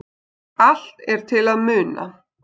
Allt er til að muna.